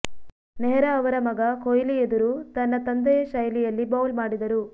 ನೆಹ್ರಾ ಅವರ ಮಗ ಕೊಹ್ಲಿ ಎದುರು ತನ್ನ ತಂದೆಯ ಶೈಲಿಯಲ್ಲಿ ಬೌಲ್ ಮಾಡಿದರು